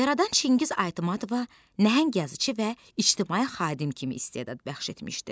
Yaradan Çingiz Aytmatova nəhəng yazıçı və ictimai xadim kimi istedad bəxş etmişdi.